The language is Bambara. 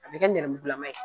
A bɛ kɛ nɛrɛmugulaman ye.